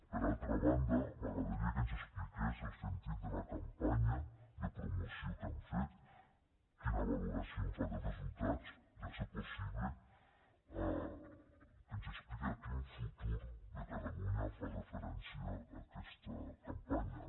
per altra banda m’agradaria que ens expliqués el sentit de la campanya de promoció que n’han fet quina valoració fa dels resultats i si és possible que ens expliqui a quin futur de catalunya fa referència aquesta campanya